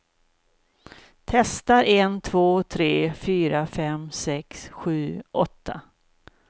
Testar en två tre fyra fem sex sju åtta.